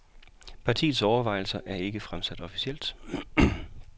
Partiets overvejelser er ikke fremsat officielt.